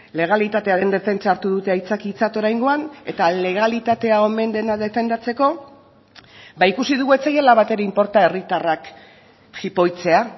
legalitatearen defentsa hartu dute aitzakiatzat oraingoan eta legalitatea omen dena defendatzeko ba ikusi dugu ez zaiela batere inporta herritarrak jipoitzea